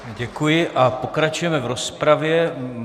Děkuji a pokračujeme v rozpravě.